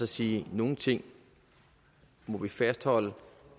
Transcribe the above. sige at nogle ting må vi fastholde